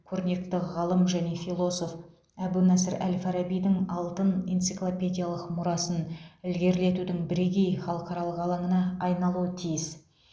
көрнекті ғалым және философ әбу насыр әл фарабидің алтын энциклопедиялық мұрасын ілгерілетудің бірегей халықаралық алаңына айналуы тиіс